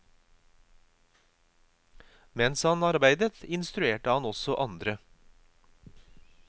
Mens han arbeider, instruerer han også andre.